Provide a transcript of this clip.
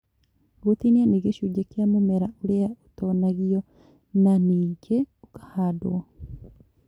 Gũtinia nĩ gĩcunjĩ kĩa mũmera ũrĩa ũtonagio na nĩngĩ ũkahandwo